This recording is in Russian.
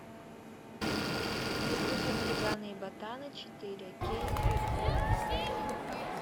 загрузи хулиганы и ботаны четыре кей окко